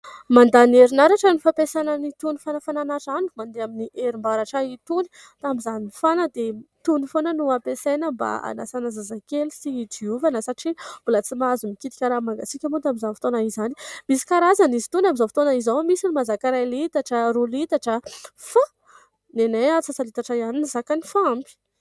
Mandany herinaratra ny fampiasana an'itony fanafanana rano mandeha amin'ny herim-baratra itony. Tamin'izaho nifana dia itony foana no ampiasaina mba hanasana zazakely sy hidiovana satria mbola tsy mahazo mikitika ranobmangatsika moa tamin'izany fotoana izany. Misy karazany izy itony amin'izao fotoana izao. Misy ny mahazaka iray litatra, roa litatra fa ny anay antsasa-litatra ihany ny zakany fa ampy.